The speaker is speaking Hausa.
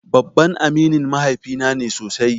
Babban aminin mahaifi na ne sosai.